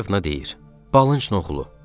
Pantileyevna deyir: Balınç noğulu?